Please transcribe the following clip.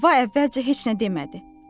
Həvva əvvəlcə heç nə demədi.